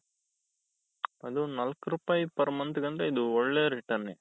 ಅದು ನಾಲ್ಕು ರೂಪಾಯಿ per month ಅಂದ್ರೆ ಇದು ಒಳ್ಳೆ returnನೇ.